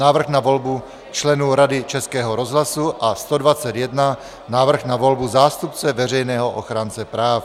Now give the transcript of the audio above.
Návrh na volbu členů Rady Českého rozhlasu a 121 - Návrh na volbu zástupce Veřejného ochránce práv.